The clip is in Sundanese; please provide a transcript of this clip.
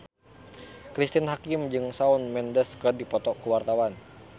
Cristine Hakim jeung Shawn Mendes keur dipoto ku wartawan